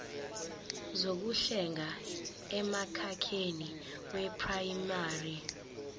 zokuhlenga emkhakheni weprayimari